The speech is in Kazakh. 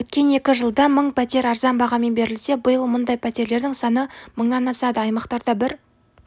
өткен екі жылда мың пәтер арзан бағамен берілсе биыл мұндай пәтерлердің саны мыңнан асады аймақтарда бір